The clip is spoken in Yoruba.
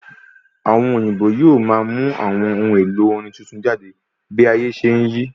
Àwọn òyìnbó yóò máa mú àwọn ohun èlò orin tuntun jáde bí ayé ṣe n yí